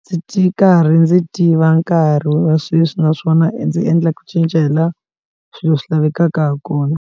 ndzi ri karhi ndzi tiva nkarhi wa sweswi naswona ndzi endla ku cinca hi la swilo swi lavekaka ha kona.